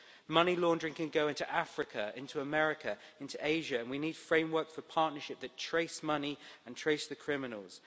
Money laundering can go into Africa, into America, into Asia, and we need a framework for partnerships that trace money and trace the criminals.